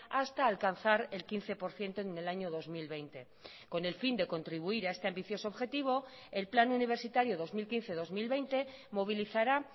hasta alcanzar el quince por ciento en el año dos mil veinte con el fin de contribuir a este ambicioso objetivo el plan universitario dos mil quince dos mil veinte movilizará